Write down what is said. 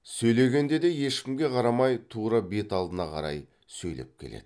сөйлегенде де ешкімге қарамай тура бет алдына қарай сөйлеп келеді